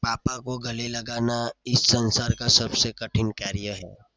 પાપા કો ગલે લગાના ઇસ સંસાર કા સબસે કઠિન કાર્ય હૈ.